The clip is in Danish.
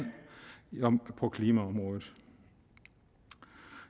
på klimaområdet